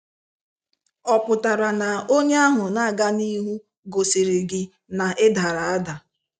Ọ pụtara na onye ahụ na aga n'ihu gosiri gị na ị dara ada?